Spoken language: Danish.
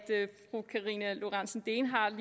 fru karina lorentzen dehnhardt